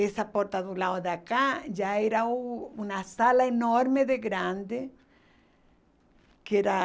Essa porta do lado de cá já era uma sala enorme de grande que era